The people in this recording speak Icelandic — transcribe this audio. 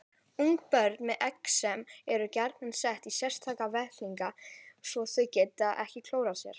Einnig er talið hugsanlegt að skemmdir á frumum vegna geislunar eða efna séu mögulegir orsakaþættir.